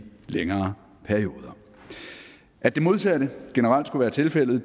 længere perioder at det modsatte generelt skulle være tilfældet